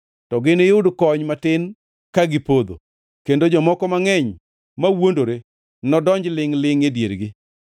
to giniyud kony matin ka gipodho, kendo jomoko mangʼeny mawuondore nodonj lingʼ-lingʼ diergi.